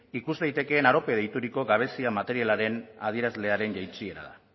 ikus daitekeen arope deituriko gabezia materialaren adierazlearen jaitsiera da